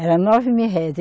Era nove mil réis.